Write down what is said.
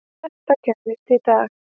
Þetta gerðist í dag.